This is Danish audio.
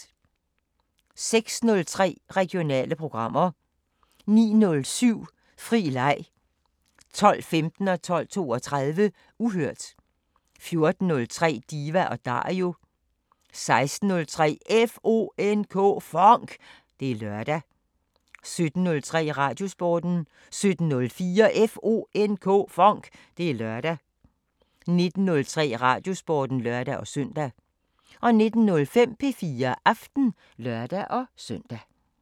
06:03: Regionale programmer 09:07: Fri leg 12:15: Uhørt 12:32: Uhørt 14:03: Diva & Dario 16:03: FONK! Det er lørdag 17:03: Radiosporten 17:04: FONK! Det er lørdag 19:03: Radiosporten (lør-søn) 19:05: P4 Aften (lør-søn)